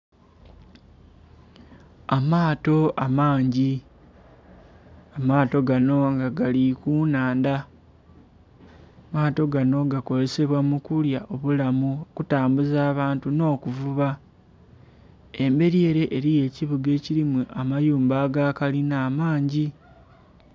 Amaato amangi, amaato gano nga gali ku nnhandha. Amaato gano gakozesebwa mu kulya obulamu okutambuza abantu nh'okuvuba. Embeli ele eliyo ekibuga ekilimu amayumba aga kalina amangi.